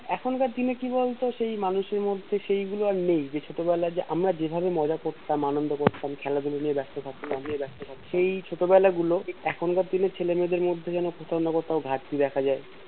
এখনকার দিনে কি বলতো সেই মানুষের মধ্যে সেগুলো আর নেই ছোটবেলায় আমরা যেভাবে মজা করতাম আনন্দ করতাম খেলা ধুলো নিয়ে ব্যাস্ত থাকতাম সেই ছোট বেলা গুলো এখনকার দিনের ছেলে মেয়েদের মধ্যে যেন কোথাও না কোথাও ঘাটতি দেখা যাই